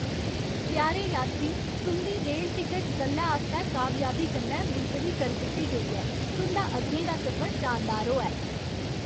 प्यारे यात्री, तुं'दी रेल टिकट कल्लै आस्तै कामयाबी कन्नै मुलतवी करी दित्ती गेई ऐ। तुं'दा अग्गें दा सफर शानदार होऐ!